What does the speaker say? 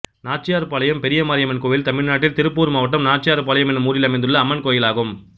நாச்சியார்பாளையம் பெரியமாரியம்மன் கோயில் தமிழ்நாட்டில் திருப்பூர் மாவட்டம் நாச்சியார்பாளையம் என்னும் ஊரில் அமைந்துள்ள அம்மன் கோயிலாகும்